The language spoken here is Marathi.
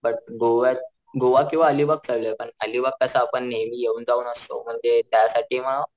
बट गोवात गोवा किंवा अलिबाग चालूये पण आलिबाग कस आपण नेहमी येऊन जाऊन असतो म ते त्यासाठी मग,